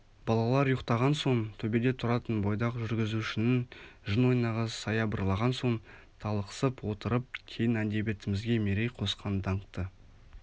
балалар ұйықтаған соң төбеде тұратын бойдақ жүргізушінің жын ойнағы саябырлаған соң талықсып отырып кейін әдебиетімізге мерей қосқан даңқты